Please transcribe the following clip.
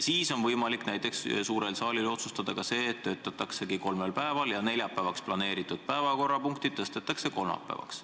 Siis on võimalik suurel saalil otsustada, et töötataksegi kolmel päeval ja neljapäevaks planeeritud päevakorrapunktid tõstetakse kolmapäevale.